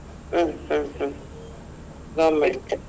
ಹ್ಮ್ ಹ್ಮ್ ಹ್ಮ್ government .